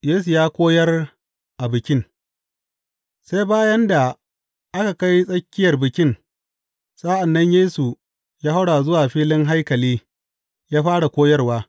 Yesu ya koyar a bikin Sai bayan da aka kai tsakiyar Bikin, sa’an nan Yesu ya haura zuwa filin haikali ya fara koyarwa.